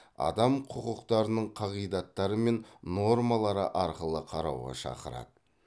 адам құқықтарының қағидаттары мен нормалары арқылы қарауға шақырады